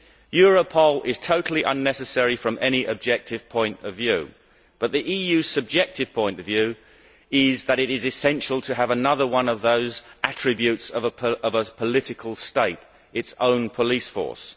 Europol is totally unnecessary from any objective point of view, but the EU's subjective point of view is that it is essential to have another of those attributes of a political state its own police force.